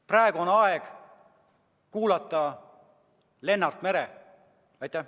Praegu on aeg kuulata Lennart Merit!